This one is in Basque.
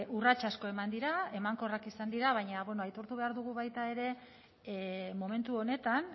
urrats asko eman dira emankorrak izan dira baina bueno aitortu behar dugu baita ere momentu honetan